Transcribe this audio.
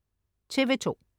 TV2: